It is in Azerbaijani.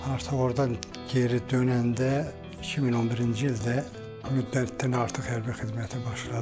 Artıq ordan geri dönəndə 2011-ci ildə müddətdən artıq hərbi xidmətə başladı.